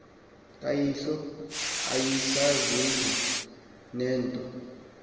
kayihlo ayisazuzi nento